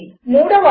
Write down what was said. మూడవది